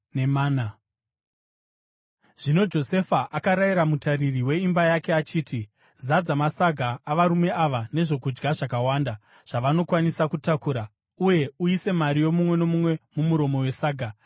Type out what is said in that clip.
Zvino Josefa akarayira mutariri weimba yake achiti, “Zadza masaga avarume ava nezvokudya zvakawanda zvavanokwanisa kutakura, uye uise mari yomumwe nomumwe mumuromo wesaga.